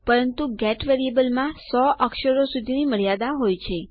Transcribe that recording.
પરંતુ ગેટ વેરીએબલમાં 100 અક્ષરો સુધીની મર્યાદા હોય છે